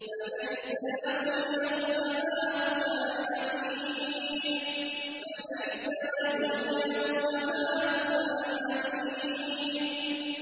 فَلَيْسَ لَهُ الْيَوْمَ هَاهُنَا حَمِيمٌ